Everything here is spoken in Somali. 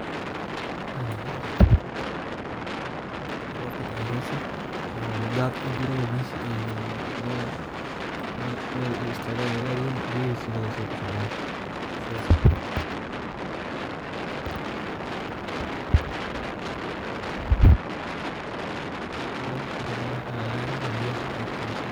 Waxa laayaa in uu rob kadaayo meesha oo daad ujio meesha ey meel ey istaagan ayey laayihin oo ini lagaguuro melaha agagaraha biyaha kasobaxan.